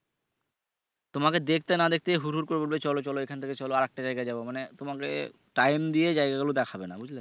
তোমাকে দেখতে না দেখতেই হুর হুর করে বলবে চলো চলো এখান থেকে চলো আর একটা জায়াগায় যাবো মানে তোমাকে time দিয়ে জায়গা গুলো দেখাবে না। বুঝলে?